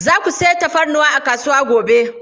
Za ku sayi tafarnuwa a kasuwa gobe?